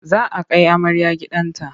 Za a kai amarya gidan ta.